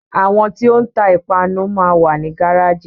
Àwọn tí o ń ta ìpanu máa wà ní gáràjì.